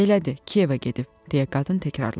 Elədi, Kiyevə gedib, deyə qadın təkrarladı.